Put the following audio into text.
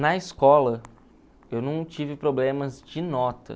Na escola, eu não tive problemas de nota.